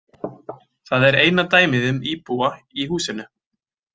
Það er eina dæmið um íbúa í húsinu.